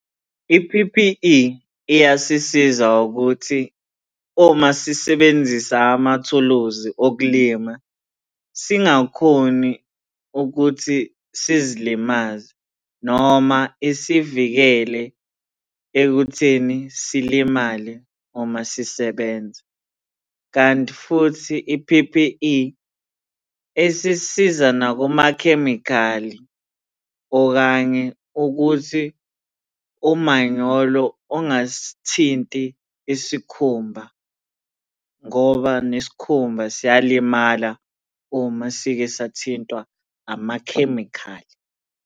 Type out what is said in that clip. I-P_P_E iyasisiza ukuthi uma sisebenzisa amathuluzi okulima singakhoni ukuthi sizilimaze noma isivikele ekutheni silimale noma sisebenza, kanti futhi i-P_P_E, isisiza nakumakhemikhali, okanye ukuthi umanyolo ungasithinti isikhumba ngoba nesikhumba siyalimala uma sike sathintwa amakhemikhali.